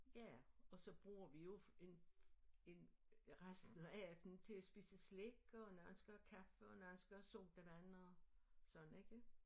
Ja og så bruger vi jo en en resten af aftenen til at spise slik og nogen skal have kaffe og nogen skal have sodavand og sådan ikke